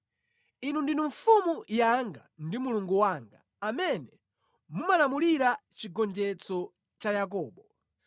Inu ndinu Mfumu yanga ndi Mulungu wanga amene mumalamulira chigonjetso cha Yakobo.